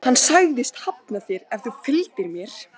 Hann sagðist hafna þér ef þú fylgdir mér.